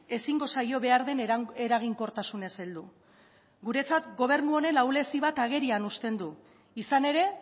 ezingo zaio behar den eraginkortasunez heldu guretzat gobernu honen ahulezi bat agerian uzten du izan ere